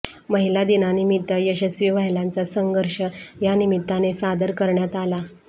महिला दिनानिमित्त यशस्वी महिलांचा संघर्ष या निमित्ताने सादर करण्यात आला